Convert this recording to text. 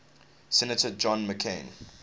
senator john mccain